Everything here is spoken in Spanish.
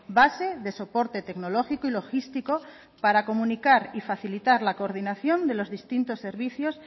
base de soporte tecnológico y logístico para comunicar y facilitar la coordinación de los distintos servicios